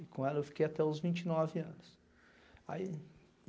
E com ela eu fiquei até os vinte e nove anos. Ai